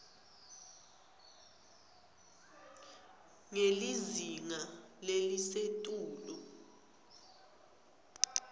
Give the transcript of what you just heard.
ngelizinga lelisetulu